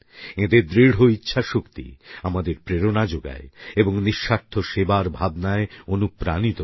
এঁদের দৃঢ় ইচ্ছাশক্তি আমাদের প্রেরণা যোগায় এবং নিঃস্বার্থ সেবার ভাবনায় অনুপ্রাণিত করে